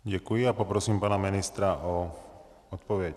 Děkuji a prosím pana ministra o odpověď.